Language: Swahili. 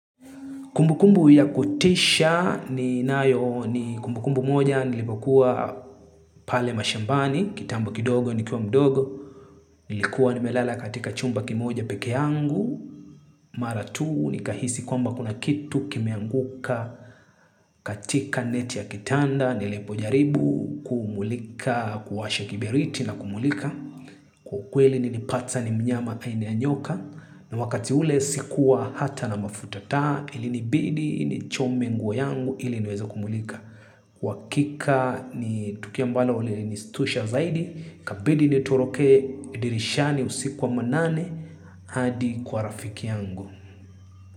Kumbukumbu ya kutisha ninayo ni kumbukumbu moja nilipokuwa pale mashambani, kitambo kidogo nikiwa mdogo, nilikuwa nimelala katika chumba kimoja pekee yangu, mara tu nikahisi kwamba kuna kitu kimeanguka katika neti ya kitanda nilipojaribu kumulika kuwasha kiberiti na kumulika. Kwa ukweli nilipata ni mnyama aina ya nyoka. Na wakati ule sikuwa hata na mafuta taa ilinibidi nichome nguo yangu ili niweze kumulika. Wakika ni tukio ambalo lilinistusha zaidi ikabidi nitoroke dirishani usiku wa manane hadi kwa rafiki yangu.